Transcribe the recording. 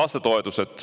lastetoetused.